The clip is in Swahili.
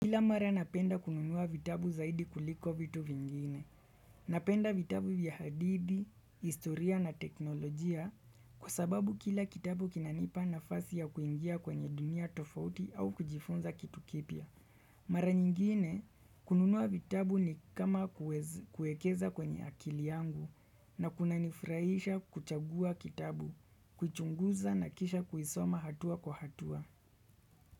Kila mara napenda kununua vitabu zaidi kuliko vitu vingine. Napenda vitabu vya hadithi, historia na teknolojia kwa sababu kila kitabu kinanipa nafasi ya kuingia kwenye dunia tofauti au kujifunza kitu kipya. Mara nyingine kununua vitabu ni kama kuekeza kwenye akili yangu na kunanifurahisha kuchagua kitabu, kuchunguza na kisha kuisoma hatua kwa hatua.